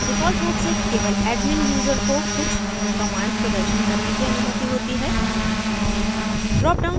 default रूप से केवल admin यूजर को कुछ commands प्रदर्शन करने की अनुमति होती है